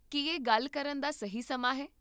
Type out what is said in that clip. ਕੀ ਇਹ ਗੱਲ ਕਰਨ ਦਾ ਸਹੀ ਸਮਾਂ ਹੈ?